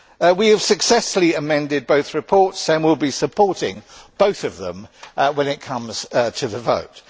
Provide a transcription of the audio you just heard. We have successfully amended both reports, and will be supporting both of them when it comes to the vote.